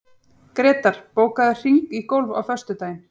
Grétar, bókaðu hring í golf á föstudaginn.